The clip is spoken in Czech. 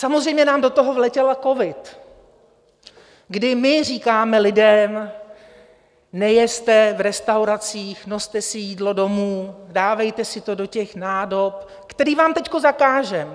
Samozřejmě nám do toho vletěl covid, kdy my říkáme lidem: Nejezte v restauracích, noste si jídlo domů, dávejte si to do těch nádob, které vám teď zakážeme.